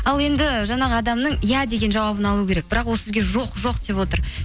ал енді жаңағы адамның иә деген жауабын алу керек бірақ ол сізге жоқ жоқ деп отыр